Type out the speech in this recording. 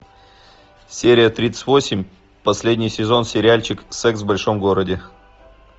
серия тридцать восемь последний сезон сериальчик секс в большом городе